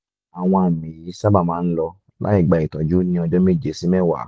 àwọn àmì yìí sábà máa ń lọ láì gba ìtọ́jú ní ọjọ́ méje sí mẹ́wàá